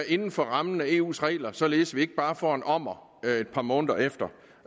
inden for rammerne af eus regler således at vi ikke bare får en ommer et par måneder efter